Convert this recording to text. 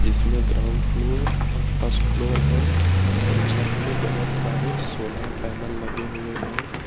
इसमें ground floor और first floor है और छत पे बहोत सारे सोलार पैनल लगे हुए हैं।